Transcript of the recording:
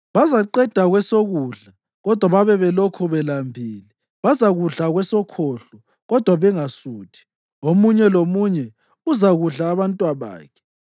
Bazaqeda kwesokudla kodwa babe belokhu belambile; bazakudla kwesokhohlo, kodwa bangasuthi. Omunye lomunye uzakudla abantwabakhe: